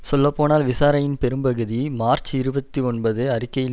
சொல்லப்போனால் விசாரணையின் பெரும்பகுதி மார்ச் இருபத்தி ஒன்பது அறிக்கையில்